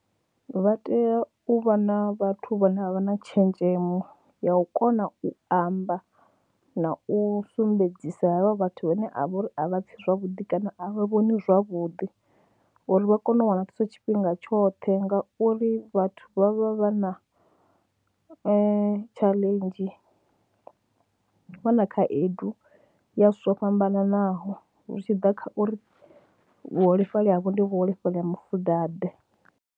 Vha tea u vha na vhathu vhane a vha na tshenzhemo ya u kona u amba na u sumbedzisa havha vhathu vhane a vha uri a vha pfhi zwavhuḓi kana a vha vhoni zwavhuḓi uri vha kone u wana thuso tshifhinga tshoṱhe ngauri vhathu vha vha vha na tshaḽenzhi, vha na khaedu ya zwithu zwo fhambananaho zwi tshi ḓa kha uri vhuholefhali havho ndi vhuholefhali ha mufudaḓe.